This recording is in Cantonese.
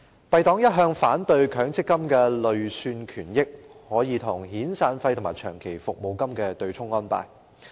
敝黨一向反對強制性公積金的累算權益可與遣散費和長期服務金對沖的安排。